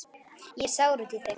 Ég er sár út í þig.